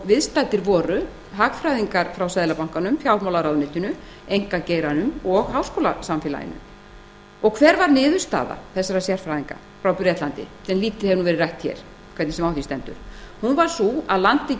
viðstaddir voru hagfræðingar frá seðlabankanum fjármálaráðuneytinu einkageiranum og háskólasamfélaginu hver varð niðurstaða þessara sérfræðinga frá bretlandi hún hefur lítið verið rædd hér hvernig sem á því stendur niðurstaða þeirra var sú að landið